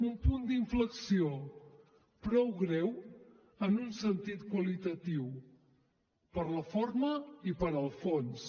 un punt d’inflexió prou greu en un sentit qualitatiu per la forma i pel fons